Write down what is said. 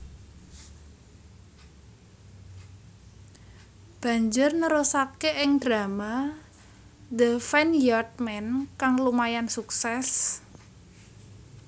Banjur nerusake ing drama The Vineyard Man kang lumayan sukses